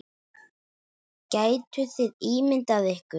Gætuð þið ímyndað ykkur.